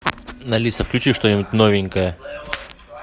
алиса включи что нибудь новенькое